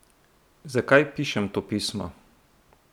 Zakaj pišem to pismo?